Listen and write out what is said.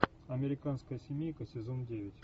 американская семейка сезон девять